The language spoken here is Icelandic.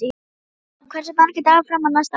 Finnborg, hversu margir dagar fram að næsta fríi?